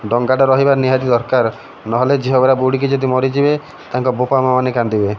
ଡଙ୍ଗାଟା ରହିବା ନିହାତି ଦରକାର। ନହେଲେ ଝିଅ ଗୁରା ବୁଡି଼କି ଯଦି ମରିଯିବେ ତାଙ୍କ ବୋପା ମା ମାନେ କାନ୍ଦିବେ।